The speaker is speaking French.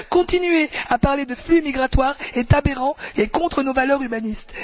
Continuer à parler de flux migratoires est aberrant et contraire à nos valeurs humanistes.